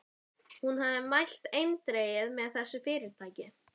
Hún hafði mælt eindregið með þessu fyrirtæki.